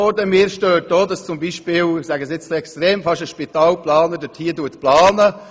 Auch mich stört es, dass hier, etwas übertrieben ausgedrückt, fast ein Spitalplaner diese Planung vornimmt.